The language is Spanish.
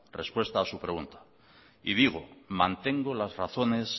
respuesta a su pregunta y digo mantengo las razones